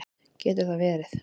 Getur það verið?